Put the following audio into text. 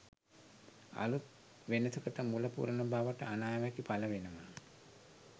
අලුත් වෙනසකට මුල පුරන බවට අනාවැකි පළ වෙනවා.